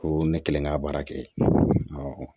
Ko n bɛ kelen ka baara kɛ